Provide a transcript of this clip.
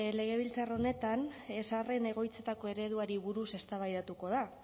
legebiltzar honetan zaharren egoitzetako ereduari buruz eztabaidatuko da